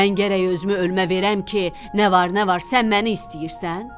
Mən gərək özümü ölümə verəm ki, nə var nə var sən məni istəyirsən?